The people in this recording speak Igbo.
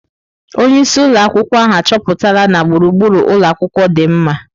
Onye isi ụlọ akwụkwọ ahụ achọpụtala na gburugburu ụlọ akwụkwọ dị mma.